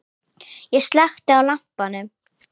Ég slökkti á lampanum.